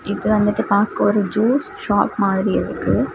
இது வந்துட்டு பாக்க ஒரு ஜூஸ் ஷாப் மாதிரி இருக்கு.